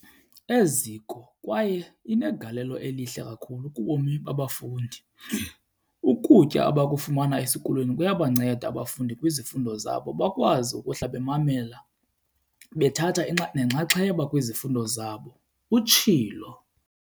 Eziko kwaye inegalelo elihle kakhulu kubomi babafundi. Ukutya abakufumana esikolweni kuyabanceda abafundi kwizifundo zabo, bakwazi ukuhlala bemamele bethatha nenxaxheba kwizifundo zabo, utshilo.